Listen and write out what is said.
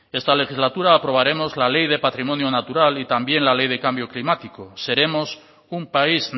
esta legislatura aprobaremos la ley de patrimonio natural y también la ley de cambio climático seremos un país